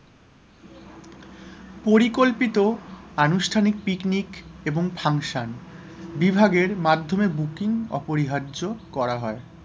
পরিকল্পিত অনুষ্ঠানিক picnic এবং function বিভাগের মাধ্যমে booking অপরিহার্য করা হয়,